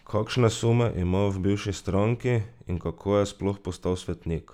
Kakšne sume imajo v bivši stranki in kako je sploh postal svetnik?